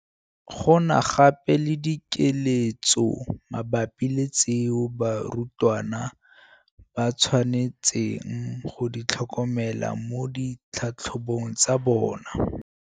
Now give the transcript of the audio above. Go na gape le dikeletso mabapi le tseo barutwana ba tshwanetseng go di tlhokomela mo ditlhatlhobong tsa bona.